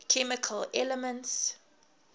chemical elements